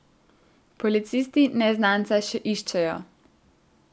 Policisti neznanca še iščejo.